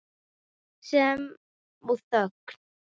Sem og þögnin.